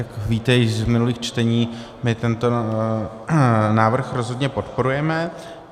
Jak víte již z minulých čtení, my tento návrh rozhodně podporujeme.